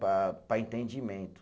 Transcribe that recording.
Para para entendimento.